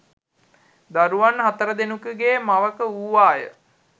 දරුවන් හතර දෙනකුගේ මවක වූවාය